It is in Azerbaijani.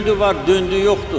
Öldü var, döndü yoxdu.